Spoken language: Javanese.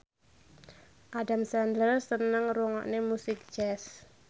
Adam Sandler seneng ngrungokne musik jazz